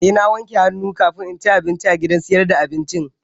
Eh na wanke hannu kamin in ci abinci a gidan sayar da abincin